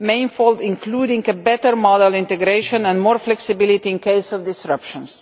manifold and include better modal integration and more flexibility in case of disruptions.